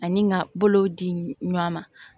Ani ka bolow di ɲɔan ma